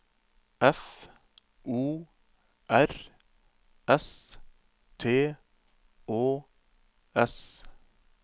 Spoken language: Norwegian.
F O R S T Å S